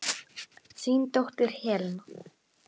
Þín dóttir Helena.